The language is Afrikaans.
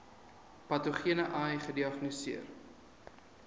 patogene ai gediagnoseer